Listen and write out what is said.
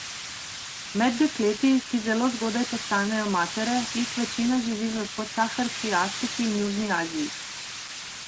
Med dekleti, ki zelo zgodaj postanejo matere, jih večina živi v podsaharski Afriki in južni Aziji.